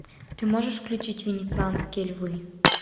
ты можешь включить венецианские львы